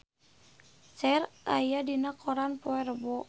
Cher aya dina koran poe Rebo